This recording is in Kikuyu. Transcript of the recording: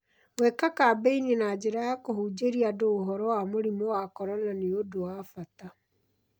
GwĩKa kambeni na njĩra ya kũhunjĩria andũ ũhoro wa mũrimũ wa corona nĩ ũndũ wa bata